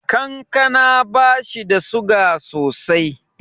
Kankana bashi da suga sosai.